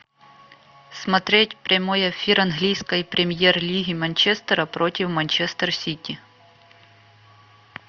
смотреть прямой эфир английской премьер лиги манчестера против манчестер сити